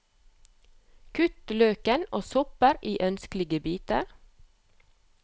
Kutt løken og soppen i ønskelige biter.